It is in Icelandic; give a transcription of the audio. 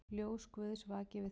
Ljós Guðs vaki yfir þér.